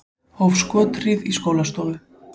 Hóf skothríð í skólastofu